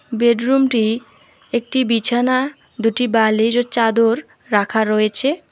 Bed রুমটি একটি বিছানা দুটি বালিশ ও চাদর রাখা রয়েছে।